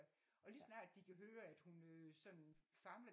Og lige så snart de kan høre at hun sådan famler